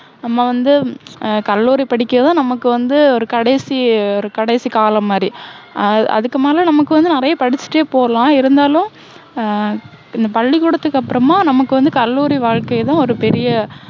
நம்ம வந்து ஆஹ் கல்லூரி படிக்குறது, நமக்கு வந்து ஒரு கடைசி, ஒரு கடைசி காலம் மாதிரி. ஆஹ் அதுக்கு மேல நமக்கு வந்து நிறைய படிச்சிட்டே போகலாம். இருந்தாலும் ஆஹ் இந்த பள்ளிக்கூடத்துக்கு அப்புறமா, நமக்கு வந்து கல்லூரி வாழ்க்கை தான் ஒரு பெரிய